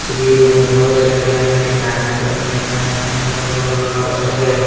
तस्वीर में बहुत सारे आदमी काम कर रहे हैं अगल बगल बहुत सारे--